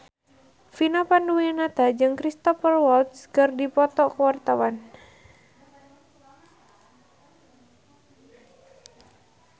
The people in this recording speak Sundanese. Vina Panduwinata jeung Cristhoper Waltz keur dipoto ku wartawan